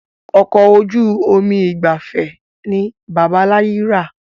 Ọkọ̀ ojú omi ìgbafẹ́ ni bàbá láyi ra